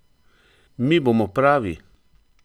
Mi bomo pravi!